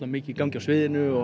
mikið í gangi á sviðinu og